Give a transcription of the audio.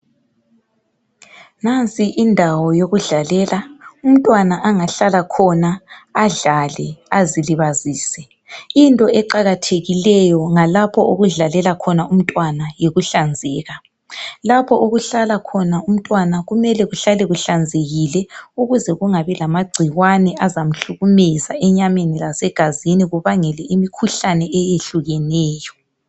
Nansi indawo yokudlalela umntwana angahlala khona adlale azilibazise .Into eqakathekileyo ngalapho okudlalela khona umntwana yikuhlanzeka .Lapho okuhlala khona umntwana kumele kuhlale kuhlanzekile ukuze kungabi lama gcikwane azamhlukumeza enyameni lasegazini kubangele imkhuhlane eyehlukeneyo .